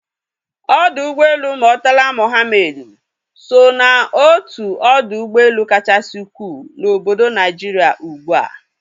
Ọdọ ụgbọelu Murtala Muhammed so ná otu odo ụgbọelu kachasị ukwuu na obodo Naijiria ugbua